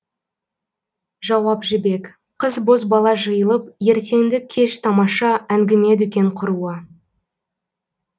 жауап жібек қыз бозбала жиылып ертеңді кеш тамаша әңгіме дүкен құруы